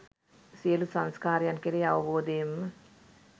සියලු සංස්කාරයන් කෙරෙහි අවබෝධයෙන්ම